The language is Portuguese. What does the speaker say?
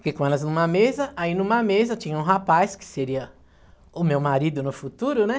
Fiquei com eles numa mesa, aí numa mesa tinha um rapaz, que seria o meu marido no futuro, né?